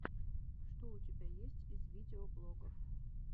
что у тебя есть из видеоблогов